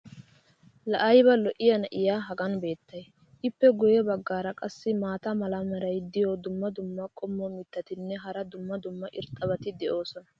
laa ayba lo'iya na'iya hagan beetay? ippe guye bagaara qassi maata mala meray diyo dumma dumma qommo mitattinne hara dumma dumma irxxabati de'oosona.